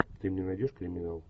ты мне найдешь криминал